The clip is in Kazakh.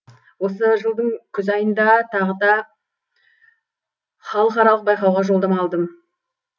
осы жылдың күз айында тағда халықаралық байқауға жолдама аладым